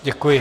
Děkuji.